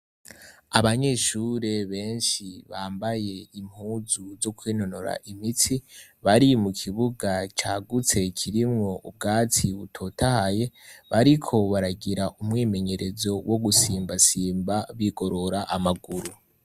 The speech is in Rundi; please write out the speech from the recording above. Abanyeshuri benshi bambaye impuzu zo kwinonora imitsi ,bari mu kibuga cagutse kirimwo ubwatsi butotahaye ,bariko baragira umwimenyerezo wo gusimba simba, bigorora amaguru.